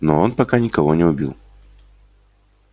но он пока никого не убил